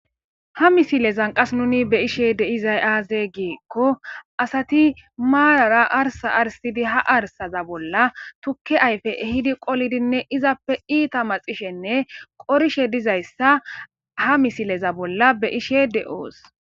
ha misilezan qas nuni be ishe de izay aaze giikko asati maarara arsa arsidi ha arsaza bolla tukke ayfe hidi qolidinne izappe iita maxishenne qorishe dizayssa ha misileza bolla be ishe de7oos